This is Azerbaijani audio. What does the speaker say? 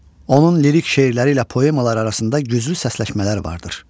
Onun lirik şeirləri ilə poemalar arasında güclü səsləşmələr vardır.